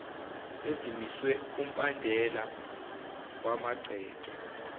ezimiswe kumbandela wamagceke